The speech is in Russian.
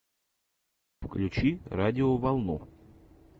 включи радиоволну